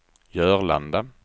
Jörlanda